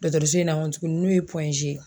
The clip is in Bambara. Dɔkɔtɔrɔso in na kɔ tuguni n'u ye ye